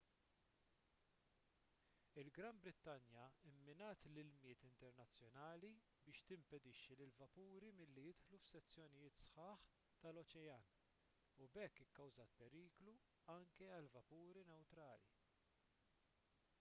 il-gran brittanja mminat l-ilmijiet internazzjonali biex timpedixxi lill-vapuri milli jidħlu f'sezzjonijiet sħaħ tal-oċean u b'hekk ikkawżat periklu anke għal vapuri newtrali